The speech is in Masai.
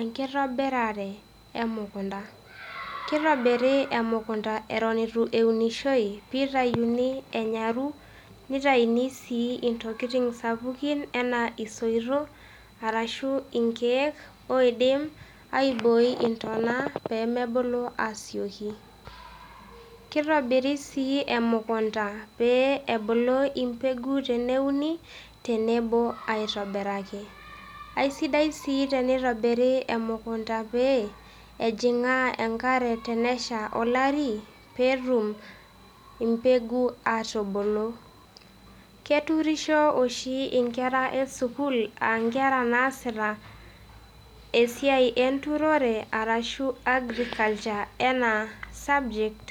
Enkitobirare e mukunda, kitobiri emukunda eton itu eunishoi peyie itayuni enyaru nitayuni sii intokitin sapukin enaa isoitok arashu inkeek oidim aibooi intona pee mebulu aasioki. Kitobiri sii emukunda pee ebulu embegu teneuni tenebo aitobiraki, aisidai sii tenitobiri emukunda pee ejing'aa enkare tenesha olari peetum embegu aatubulu. Keturisho oshi inkera esukuul aa inkera naasita esiai enturore arashu agriculture enaa subject